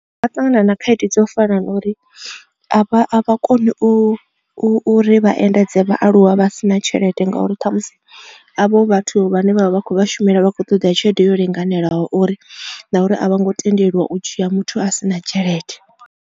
Vha ṱangana na khaedu dzo fana na uri a vha koni u u uri vha endedze vhaaluwa vha si na tshelede ngauri ṱhamusi havho vhathu vhane vha vha vha khou vha shumela vhakho ṱoḓa tshelede yo linganelaho uri na uri a vho ngo tendeliwa u dzhia muthu a si na tshelede.